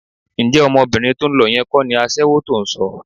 Ǹjẹ́ ọmọbìnrin tó ń lọ yẹn kọ́ ni aṣẹ́wó tó ń sọ?